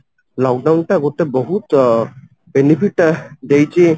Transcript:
lock down ଟା ଗୋଟେ ବହୁତ ଅ benefit ଦେଇଛି